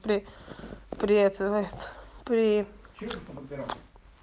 при привет говорит при этом